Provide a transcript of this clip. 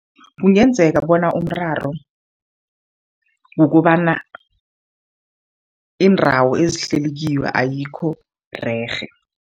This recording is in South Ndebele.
Kungenzeka bona umraro kukobana iindawo ezihlelikiwo ayikho rerhe.